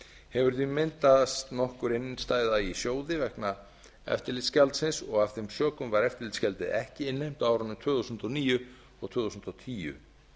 hefur því myndast nokkur innstæða í sjóði vegna eftirlitsgjaldsins og af þeim sökum var eftirlitsgjaldið ekki innheimt á árunum tvö þúsund og níu og tvö þúsund og tíu